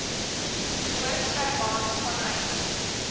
noord germaans vanuit